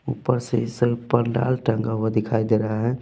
ऊपर से स पंडाल टंगा हुआ दिखाई दे रहा है।